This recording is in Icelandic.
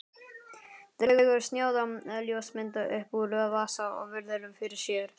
Dregur snjáða ljósmynd upp úr vasa og virðir fyrir sér.